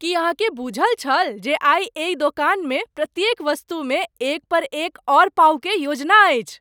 की अहाँ के बूझल छल जे आइ एहि दोकान में प्रत्येक वस्तु में एक पर एक और पाउ क योजना अछि?